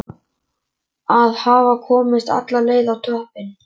Að hafa komist alla leið á toppinn!